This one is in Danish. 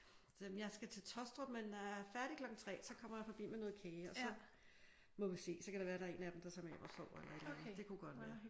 Så sagde jeg jamen jeg skal til Taastrup i dag men er færdig klokken 3 og så kommer jeg med noget kage og så må vi se. Så kan det være at der er en af dem tager med hjem og sover. Det kunne godt være